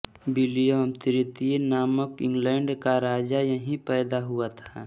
William तृतीय नामक England का राजा यहीं पैदा हुआ था